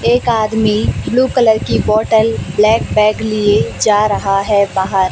एक आदमी blue colour की बॉटल ब्लैक बैग लिए जा रहा है बाहर।